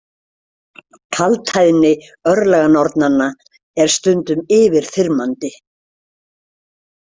Kaldhæðni örlaganornanna er stundum yfirþyrmandi.